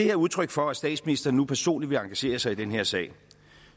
er udtryk for at statsministeren nu personligt vil engagere sig i den her sag